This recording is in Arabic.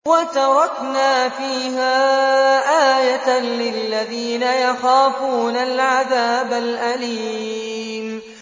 وَتَرَكْنَا فِيهَا آيَةً لِّلَّذِينَ يَخَافُونَ الْعَذَابَ الْأَلِيمَ